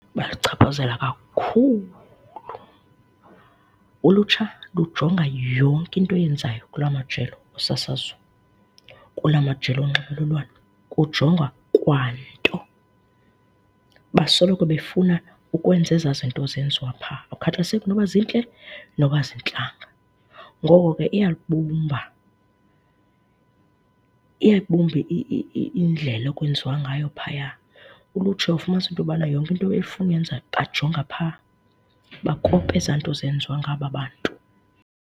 Baluchaphazela kakhulu. Ulutsha lujonga yonke into iyenzayo kulaa majelo osasazo, kulaa majelo onxibelelwano, kujongwa kwanto. Basoloko befuna ukwenza ezaa zinto zenziwa phaa, akukhathaliseki noba zintle, noba azintlanga. Ngoko ke, iyalibumba, iyayibumba indlela ekwenziwa ngayo phaya, ulutsha uyawufumanisa into yobana yonke efuna uyenza bajonga phaa, bakopa ezaa nto ezenziwa ngaba bantu